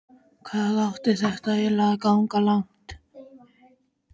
Hvað átti þetta eiginlega að ganga langt?